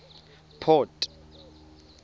port